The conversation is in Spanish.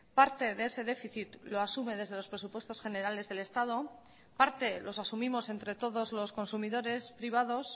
parte de ese déficit lo asume desde los presupuestos generales del estado parte los asumimos entre todos los consumidores privados